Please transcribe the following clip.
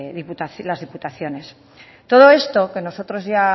las diputaciones todo esto que nosotros ya